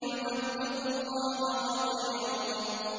فَاتَّقُوا اللَّهَ وَأَطِيعُونِ